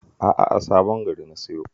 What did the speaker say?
A'a, a Sabon Gari na siyo